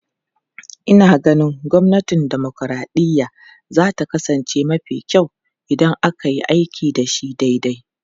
Ina ganin gwamnatin dimokuraɗiyya za ta kasance mafi kyau idan aka yi aiki da shi daidai.